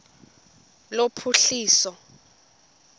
lophuhliso